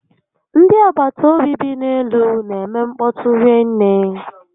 Ndị agbataobi bi n'elu n'eme nkpọtu rinne